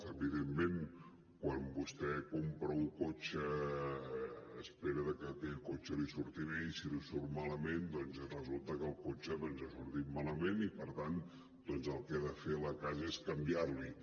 evidentment quan vostè compra un cotxe espera que aquell cotxe li surti bé i si li surt malament doncs resulta que el cotxe ha sortit malament i per tant el que ha de fer la casa és canviar l’hi